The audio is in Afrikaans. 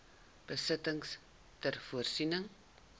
besittings ter voorsiening